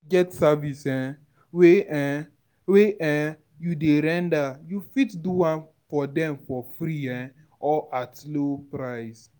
get service um wey um wey um you dey render, you fit do am for dem for free um or at low price